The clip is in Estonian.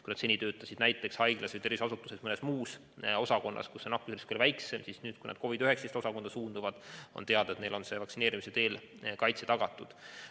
Kui nad seni töötasid haiglas või tervishoiuasutuses mõnes muus osakonnas, kus on nakkusoht väiksem, ja nüüd suunduvad COVID-19 osakonda, siis on teada, et neil on vaktsineerimise teel kaitse tagatud.